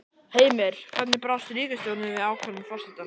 Heimir, hvernig brást ríkisstjórnin við ákvörðun forsetans?